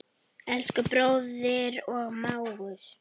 Elsku bróðir og mágur.